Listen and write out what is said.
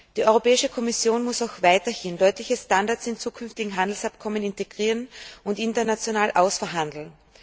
Die Europäische Kommission muss auch weiterhin deutliche Standards in zukünftige Handelsabkommen integrieren und international ausverhandeln.